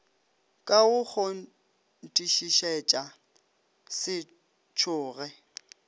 ka go kgonthišišetša se tšhoge